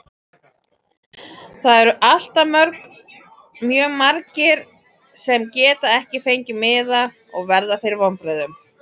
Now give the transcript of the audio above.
Það eru alltaf mjög margir sem geta ekki fengið miða og verða fyrir vonbrigðum.